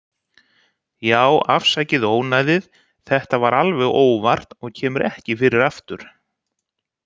Já, afsakið ónæðið, þetta var alveg óvart og kemur ekki fyrir aftur.